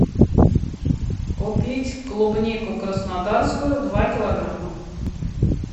купить клубнику краснодарскую два килограмма